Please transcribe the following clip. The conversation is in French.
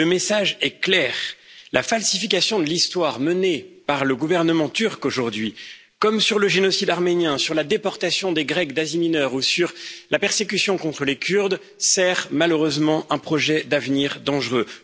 Le message est clair la falsification de l'histoire menée par le gouvernement turc aujourd'hui, comme sur le génocide arménien, sur la déportation des Grecs d'Asie mineure ou sur la persécution contre les Kurdes, sert malheureusement un projet d'avenir dangereux.